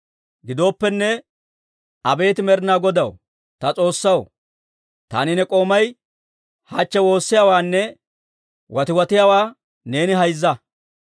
Gidooppenne, abeet Med'inaa Godaw, ta S'oossaw, taani ne k'oomay hachche woossiyaawaanne watiwatiyaawaa neeni hayzza.